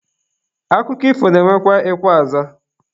Akụkọ ifo na-enwekwa ekwe azaa.